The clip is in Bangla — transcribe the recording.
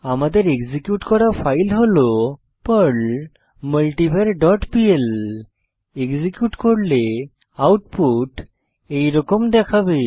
আমাদের এক্সিকিউট করা ফাইল হল Perl multivar dot PL execute করলে আউটপুট এইরকম দেখাবে